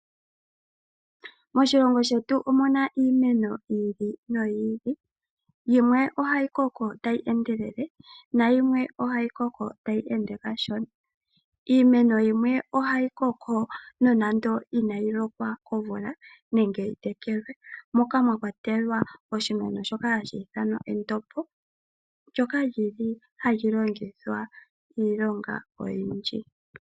Moshilongo shetu omuna iimeno yili noyili, yimwe ohayikoko tayi endelele nayimwe ohayikoko tayi ende kashona. Iimeno yimwe ohayikoko nonando inayilokwa komvula nenge yitekelwe, moka mwakwatelwa oshimeno shoka hashiithanwa endombo, ndjoka lyili halilongithwa iilonga oyindji.